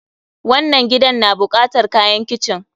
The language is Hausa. wannann gidan na bukatar kayan kitchen.